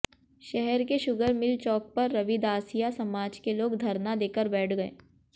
शहर के sugar mill चौक पर रविदासिया समाज के लोग धरना देकर बैठ गए